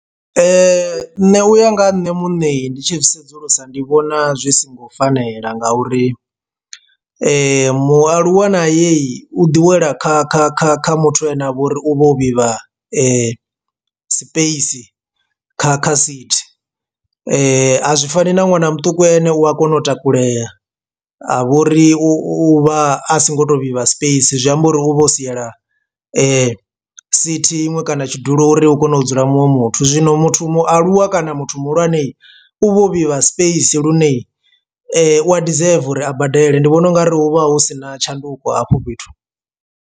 Nṋe uya nga ha nṋe muṋe ndi tshi sedzulusa ndi vhona zwi songo fanela nga uri mualuwa na ye u ḓi wela kha kha kha kha muthu ane avha uri u vha u vhivha space kha kha sithi, a zwi fani na ṅwana muṱuku ane u a kona u takulela a vha uri u vha a si ngo to vhivha space zwi amba uri u vha o siela sithi iṅwe kana tshidulo uri hu kone u dzula muṅwe muthu. Zwino muthu mualuwa kana muthu muhulwane u vha u vhivha space lune wa deserva uri a badele ndi vhona ungari hu vha hu sina tshanduko hafho fhethu.